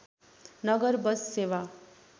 नगर बस सेवा